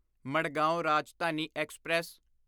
Madgaon Rajdhani express